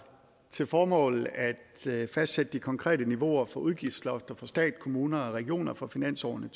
til formål at fastsætte de konkrete niveauer for udgiftslofter for stat kommuner og regioner for finansårene